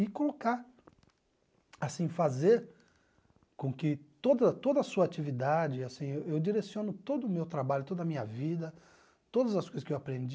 E colocar, assim, fazer com que toda toda a sua atividade assim, eu direciono todo o meu trabalho, toda a minha vida, todas as coisas que eu aprendi,